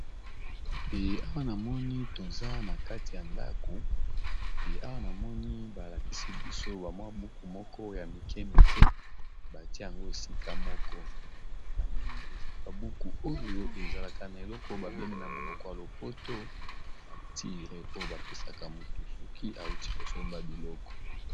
E awa namoni toza na kati ya ndako e awa namoni balakisi biso ba mwa buku moko ya mike mike batie yango esika moko namoni eza ba buku oyo ezalaka na eloko ba bengi yango na monoko ya lopoto facture oyo bapesaka motu soki awuti kosomba biloko.